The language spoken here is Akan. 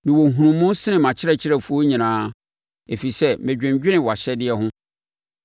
Mewɔ nhunumu sene mʼakyerɛkyerɛfoɔ nyinaa, ɛfiri sɛ medwendwene wʼahyɛdeɛ ho.